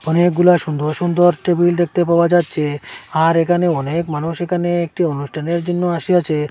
অনেকগুলা সুন্দর সুন্দর টেবিল দেখতে পাওয়া যাচ্ছে আর এখানে অনেক মানুষ এখানে একটি অনুষ্ঠানের জন্য আসিয়াছে।